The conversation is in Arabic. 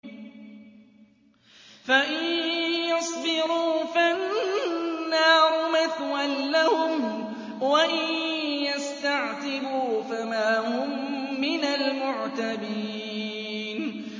فَإِن يَصْبِرُوا فَالنَّارُ مَثْوًى لَّهُمْ ۖ وَإِن يَسْتَعْتِبُوا فَمَا هُم مِّنَ الْمُعْتَبِينَ